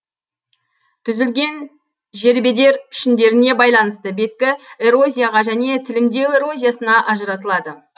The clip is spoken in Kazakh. түзілген жербедер пішіндеріне байланысты беткі эрозияға және тілімдеу эрозиясына ажыратылады